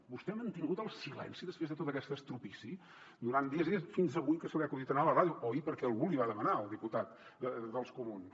vostè ha mantingut el silenci després de tota aquesta trencadissa durant dies i dies fins avui que se li ha acudit anar a la ràdio o ahir perquè algú li va demanar el diputat dels comuns